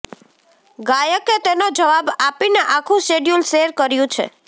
ગાયકે તેનો જવાબ આપીને આખું શિડ્યુલ શેર કર્યુ છે